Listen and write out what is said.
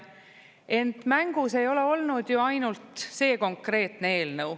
Ent mängus ei ole olnud ju ainult see konkreetne eelnõu.